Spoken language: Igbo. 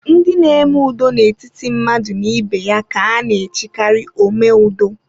Ndị n'eme ụdọ n'etiti mmadụ na ibe ya ka a na-echikari omeudo